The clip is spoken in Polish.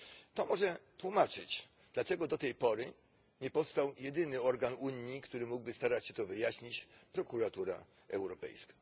To może tłumaczyć, dlaczego do tej pory nie powstał jedyny organ Unii, który mógłby starać się to wyjaśnić Prokuratura Europejska.